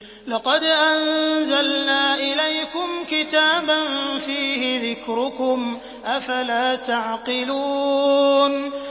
لَقَدْ أَنزَلْنَا إِلَيْكُمْ كِتَابًا فِيهِ ذِكْرُكُمْ ۖ أَفَلَا تَعْقِلُونَ